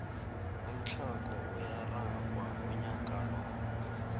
umthlago uyararhwa unyaka lo